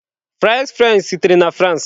Fries frenchị sitere na France.